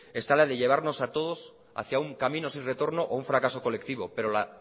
está la de llevarnos a todos hacia un camino sin retorno o a un fracaso colectivo pero la